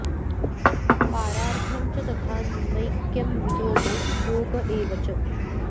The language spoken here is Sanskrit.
पारार्थ्यं च तथा नैक्यं वियोगो योग एव च